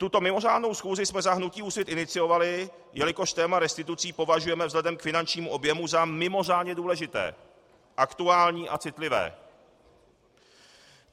Tuto mimořádnou schůzi jsme za hnutí Úsvit iniciovali, jelikož téma restitucí považujeme vzhledem k finančnímu objemu za mimořádně důležité, aktuální a citlivé.